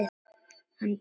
Hann Baldur.